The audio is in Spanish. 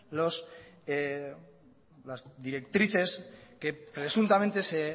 las directrices que presuntamente se